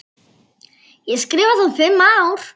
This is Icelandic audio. Ég skrifa þá fimm ár.